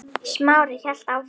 Smári hélt áfram.